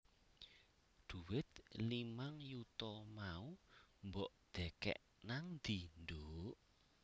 Dhuwit limang yuta mau mbok dhekek nangdi nduk?